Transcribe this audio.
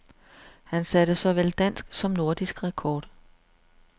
Han satte såvel dansk som nordisk rekord.